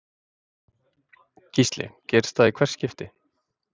Gísli: Gerist það í hvert skipti?